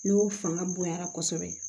N'o fanga bonyana kosɛbɛ